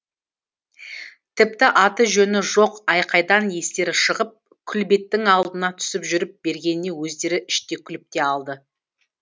тіпті аты жөні жоқ айқайдан естері шығып күлбеттің алдына түсіп жүріп бергеніне өздері іштей күліп те алды